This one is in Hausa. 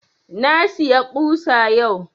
Na siya ƙusa yau